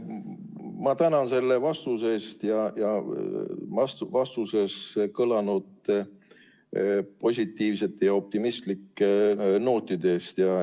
Ma tänan selle vastuse eest ning vastuses kõlanud positiivsete ja optimistlike nootide eest.